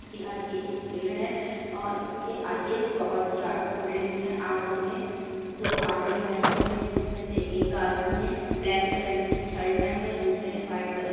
उसके आगे एक पेड़ है और उसके आगे बहुत सी ऑटो खड़ी हुई है ऑटो में दो आदमी बैठे हुए है। जिसमे एक आदमी ने ब्लैक कलर की शर्ट और दुसरे ने वाइट कलर --